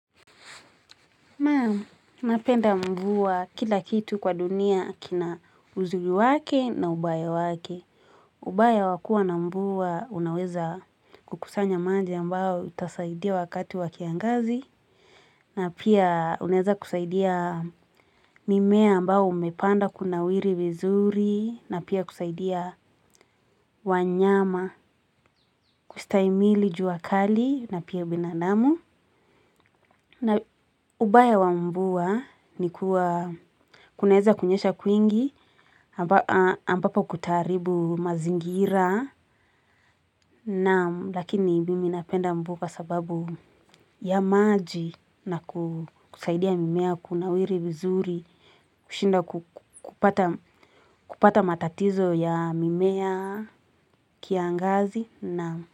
Naam, napenda mvua kila kitu kwa dunia kina uzuri wake na ubaya wake. Ubaya wa kuwa na mvua unaweza kukusanya maji ambao utasaidia wakati wa kiangazi. Na pia unaeza kusaidia mimea ambao umepandwa kunawiri vizuri. Na pia kusaidia wanyama, kustahimili juakali na pia binadamu. Ya kwingi ambapo kutaharibu mazingira naam, lakini mimi napenda mvua kwa sababu ya maji na kusaidia mimea kunawiri vizuri kushinda kupata matatizo ya mimea kiangazi, naam.